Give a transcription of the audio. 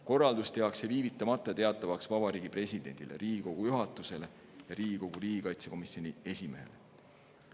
Korraldus tehakse viivitamata teatavaks Vabariigi Presidendile, Riigikogu juhatusele ja riigikaitsekomisjoni esimehele.